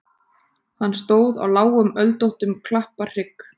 Hann stóð á lágum öldóttum klapparhrygg.